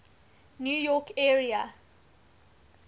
new york area